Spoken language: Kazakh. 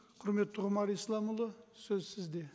құрметті ғұмар исламұлы сөз сізде